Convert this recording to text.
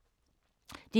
DR1